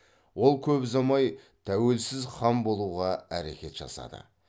ол көп ұзамай тәуелсіз хан болуға әрекет жасады